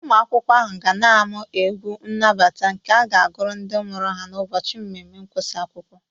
Ụmụ akwụkwọ ahụ ka na-amụ egwu nnabata nke ga-agụrụ ndị mụrụ ha n'ụbọchị mmemme ịgụsị akwụkwọ